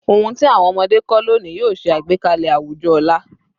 Ohun ti awọn ọmọde kọ loni yoo ṣe agbekalẹ awujọ ọla